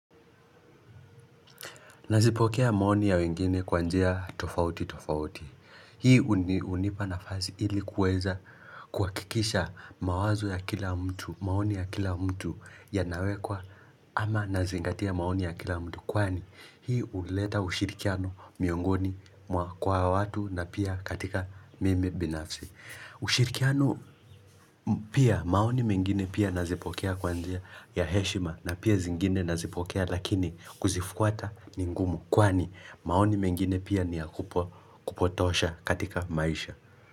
Nazipokea maoni ya wengine kwa njia tofauti tofauti. Hii unipa na fasi ilikuweza kuha kikisha mawazo ya kila mtu, maoni ya kila mtu ya nawekwa ama nazingatia maoni ya kila mtu. Kwani hii uleta ushirikiano miongoni kwa watu na pia katika mimi binafsi. Ushirikiano pia maoni mengine pia nazipokea kwa njia ya heshima na pia zingine nazipokea lakini kuzifuata ningumu Kwani maoni mengine pia ni ya kupotosha katika maisha.